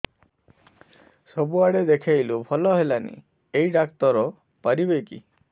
ସବୁଆଡେ ଦେଖେଇଲୁ ଭଲ ହେଲାନି ଏଇ ଡ଼ାକ୍ତର ପାରିବେ କି